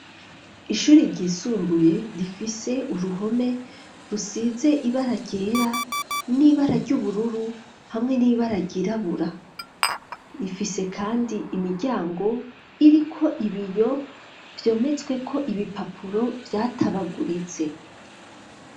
shure ryisumbuye rifise uruhome rusize ibaragera n'ibara ry'ubururu hamwe n'ibara ryirabura rifise kandi imiryango iriko ibiyo vyometsweko ibipapuro vyatabaguritse.